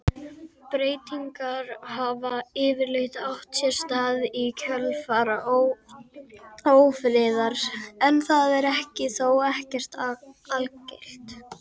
Breytingar hafa yfirleitt átt sér stað í kjölfar ófriðar en það er þó ekki algilt.